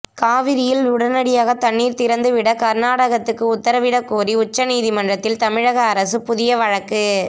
காவிரியில் உடனடியாக தண்ணீர் திறந்து விட கர்நாடகத்துக்கு உத்தரவிட கோரி உச்ச நீதிமன்றத்தில் தமிழக அரசு புதிய வழக்கு